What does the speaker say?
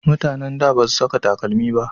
Mutanen da ba su saka takalmi